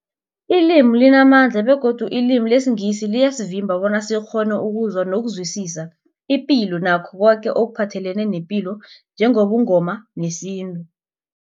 Ilimi limamandla begodu ilimi lesiNgisi liyasivimba bona sikghone ukuzwa nokuzwisisa ipilo nakho koke ekuphathelene nepilo njengobuNgoma nesintu.